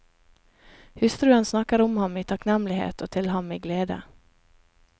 Hustruen snakker om ham i takknemlighet og til ham i glede.